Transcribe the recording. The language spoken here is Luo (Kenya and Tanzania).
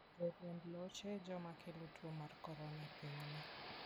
Joriemb loche e joma kelo tuo mar corona e pinyni.